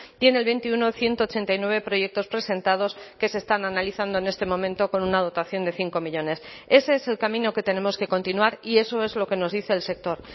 tiene el veintiuno ciento ochenta y nueve proyectos presentados que se están analizando en este momento con una dotación de cinco millónes ese es el camino que tenemos que continuar y eso es lo que nos dice el sector